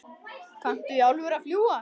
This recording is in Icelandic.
Kanntu í alvöru að fljúga?